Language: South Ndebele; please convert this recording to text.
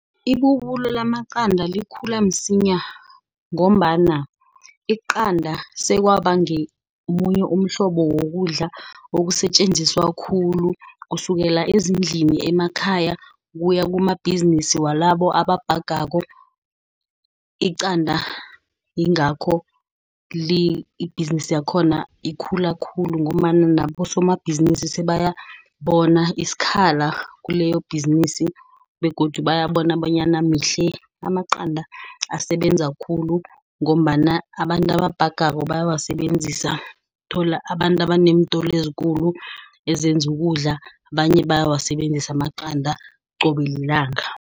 Ibubulo lamaqanda likhula msinya ngombana iqalanda sekwaba ngemunye umhlobo wokudla osetjenziswa khulu. Kusukela ezindlini emakhaya, kuya kumabhizinisi walabo ababhagako. Iqanda, ingakho ibhizinisi yakhona ikhula khulu ngombana nabosomabhizinisi sebayazi bona isikhala kuleyo ibhizinisi. Begodu bayabona bonyana mihle amaqanda asebenza khulu ngombana abantu ababhagako bayawasebenzisa, uthola abantu abanentolo ezikulu ezenza ukudla. Abanye bayawasebenzisa amaqanda qobe lilanga.